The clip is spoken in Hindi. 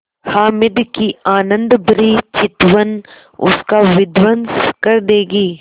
हामिद की आनंदभरी चितवन उसका विध्वंस कर देगी